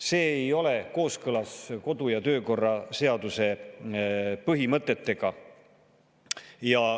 See ei ole kooskõlas kodu- ja töökorra seaduse põhimõtetega.